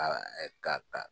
ka ka